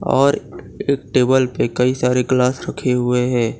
और एक टेबल पे कई सारे ग्लास रखे हुए हैं।